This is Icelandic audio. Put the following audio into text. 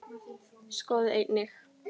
Skoðið einnig